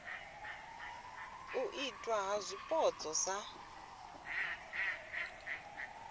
u itwa ha zwipotso sa